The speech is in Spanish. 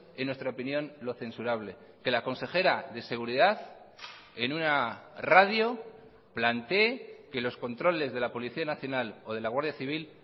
en nuestra opinión lo censurable que la consejera de seguridad en una radio plantee que los controles de la policía nacional o de la guardia civil